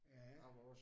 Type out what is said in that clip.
Ja